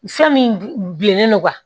Fɛn min bilennen don